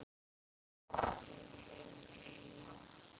Annað er slegið.